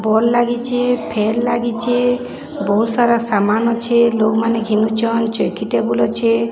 Ball ଲାଗିଚେ। Fan ଲାଗିଚେ। ‌ ବୋହୁତ ସାରା ସାମାନ୍ ଅଛେ। ଲୋକମାନେ ଘିନୁଚନ୍। ଚୌକି ଟେବୁଲ୍ ଲ ଅଛି।